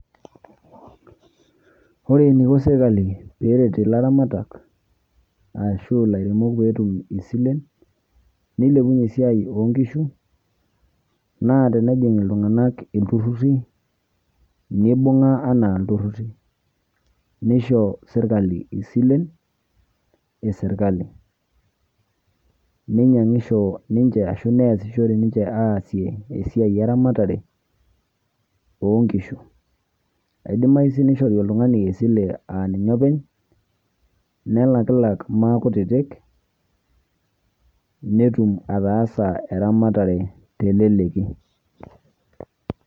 Ore eniko serkali peeret ilaramatak ashu ilairemok peetum isilen nilepunye esiai oo nkishu, naa tenejing' iltung'anak ilturruri nibung'a enaa ilturruri nisho serkali isilen e serkali, ninyang'isho ninje ashu neasishore ninje esiai e ramatare oo nkishu. Idimayu sii nishori oltung'ani esile aa ninye oopeny, nelakililak maakutitik netum ataasa eramatare te leleki.